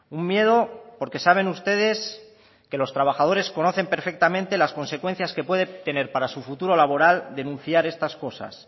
un miedo porque saben ustedes que los trabajadores conocen perfectamente las consecuencias que puede tener para su futuro laboral denunciar estas cosas